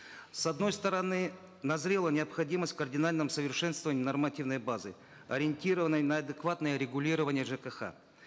с одной стороны назрела необходимость в кардинальном совершенствовании нормативной базы ориентированной на адекватное регулирование жкх